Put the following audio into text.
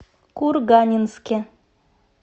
курганинске